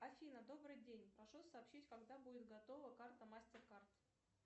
афина добрый день прошу сообщить когда будет готова карта мастеркард